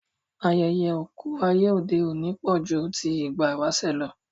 Ayẹyẹ oku ayé òde òní pọ̀ ju ti ìgbà ìwáṣẹ̀ lọ